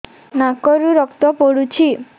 ନାକରୁ ରକ୍ତ ପଡୁଛି